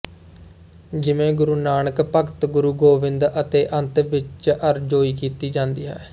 ਜਿਵੇਂ ਗੁਰੂ ਨਾਨਕ ਭਗਤ ਗੁਰੂ ਗੋਬਿੰਦ ਅਤੇ ਅੰਤ ਵਿੱਚ ਅਰਜ਼ੋਈ ਕੀਤੀ ਜਾਂਦੀ ਹੈ